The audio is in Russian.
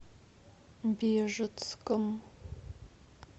бежецком